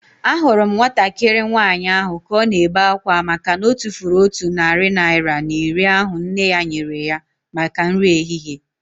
Ahụrụ m nwatakịrị nwaanyị ahu ka ọ na-ebe akwa makana otufuru otu narị naira na iri ahu nne ya nyere ya maka nri ehihie